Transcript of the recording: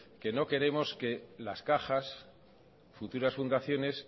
que no queremos que las cajas futuras fundaciones